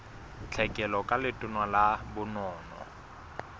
tlhekelo ka letona la bonono